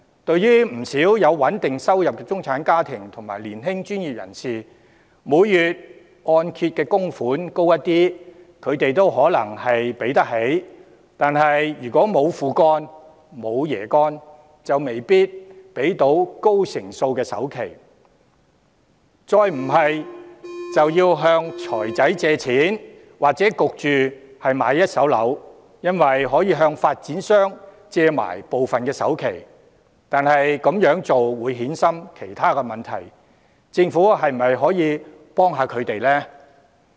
對於不少有穩定收入的中產家庭和年輕專業人士，每月按揭供款略為提高，他們可能還可應付，但如果沒有"父幹"、沒有"爺幹"，就未必可以付出高成數的首期，他們可能要向財務公司借錢，或買一手樓，因為可以向發展商借部分首期，但這樣會衍生其他問題，政府是否可以幫忙？